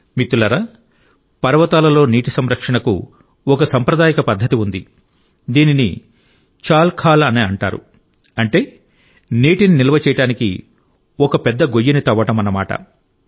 మిత్రులారా పర్వతాలలో నీటి సంరక్షణకు ఒక సాంప్రదాయిక పద్ధతి ఉంది దీనిని చాల్ ఖాల్ అని అంటారు అంటే నీటిని నిల్వ చేయడానికి ఒక పెద్ద గొయ్యిని తవ్వదన్నమాట